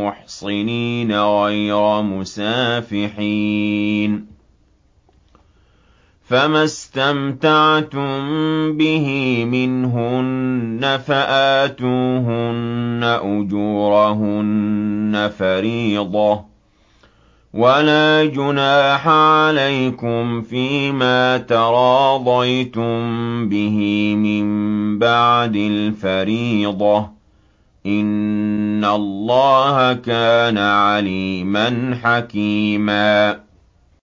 مُّحْصِنِينَ غَيْرَ مُسَافِحِينَ ۚ فَمَا اسْتَمْتَعْتُم بِهِ مِنْهُنَّ فَآتُوهُنَّ أُجُورَهُنَّ فَرِيضَةً ۚ وَلَا جُنَاحَ عَلَيْكُمْ فِيمَا تَرَاضَيْتُم بِهِ مِن بَعْدِ الْفَرِيضَةِ ۚ إِنَّ اللَّهَ كَانَ عَلِيمًا حَكِيمًا